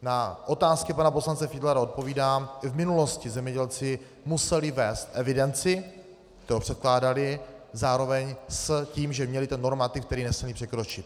Na otázky pana poslance Fiedlera odpovídám: V minulosti zemědělci museli vést evidenci, kterou předkládali zároveň s tím, že měli ten normativ, který nesměli překročit.